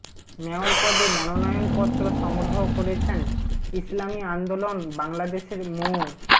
mayor পদে মনোনয়নপত্র সংগ্রহ করেছেন ইসলামী আন্দোলন বাংলাদেশের মো